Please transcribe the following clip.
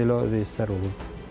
Belə vəziyyətlər olurdu.